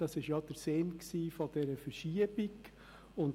Das war ja der Sinn dieser Verschiebung.